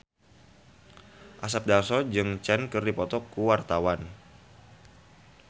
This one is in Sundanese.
Asep Darso jeung Cher keur dipoto ku wartawan